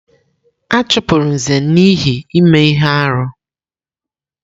A chụpụrụ Nze n'ihi ime ihe arụ.